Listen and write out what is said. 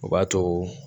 O b'a to